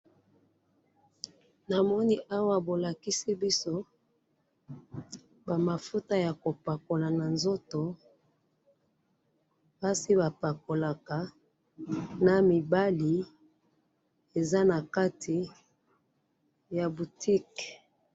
namoni awa bolakisi biso ba mafuta ya kopakola na nzoto, basi bapakolaka, na mibali, eza nakati ya boutique